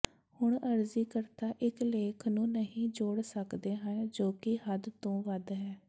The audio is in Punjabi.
ਹੁਣ ਅਰਜ਼ੀਕਰਤਾ ਇੱਕ ਲੇਖ ਨੂੰ ਨਹੀਂ ਜੋੜ ਸਕਦੇ ਹਨ ਜੋ ਕਿ ਹੱਦ ਤੋਂ ਵੱਧ ਹੈ